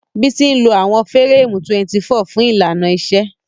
Bisi ń lo àwọn fẹ́rẹ́ẹ̀mù 24 fún ìlànà kejì.